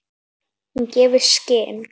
Hún gefur í skyn.